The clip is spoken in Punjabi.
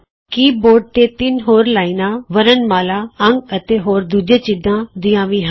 ਕੀ ਬੋਰਡ ਤੇ ਤਿੰਨ ਹੋਰ ਲਾਈਨਾਂ ਵਰਣਮਾਲਾ ਅੰਕ ਅਤੇ ਹੋਰ ਦੂਜੇ ਚਿੰਨ੍ਹਾਂ ਦੀਆਂ ਵੀ ਹਨ